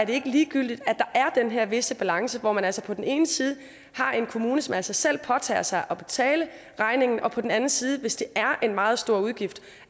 ikke ligegyldigt at der er den her visse balance hvor man altså på den ene side har en kommune som af sig selv påtager sig at betale regningen og på den anden side hvis det er en meget stor udgift